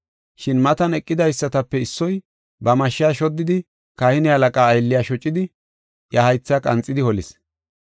Shin matan eqidaysatape issoy ba mashsha shoddidi kahine halaqaa aylliya shocidi, iya haytha qanxidi holis.